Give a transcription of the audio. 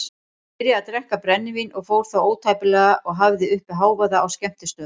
Hann byrjaði að drekka brennivín og fór þá ótæpilega og hafði uppi hávaða á skemmtistöðum.